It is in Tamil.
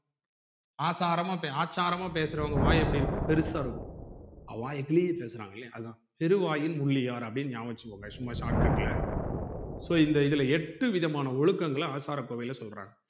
ஆச்சாரமா ஆச்சாரமா பேசுறவங்க வாய் எப்படி இருக்கும் பெருசா இருக்கும் அவா வாய் கிழிய பேசுறாங்க இல்லையா அதான் பெருவாயின் முள்ளியார் அப்டின்னு நியாபகம் வச்சிக்கோங்க சும்மா shortcut ல so இந்த இதுல எட்டு விதமான ஒழுக்கங்கள ஆசாரகோவையில சொல்றாங்க